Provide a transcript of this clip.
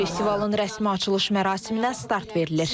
Festivalın rəsmi açılış mərasiminə start verilir.